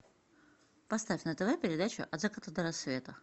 поставь на тв передачу от заката до рассвета